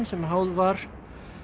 sem háð var